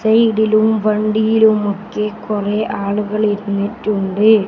സൈഡിലും വണ്ടിയിലും ഒക്കെ കുറെ ആളുകൾ ഇരുന്നിട്ടുണ്ട്.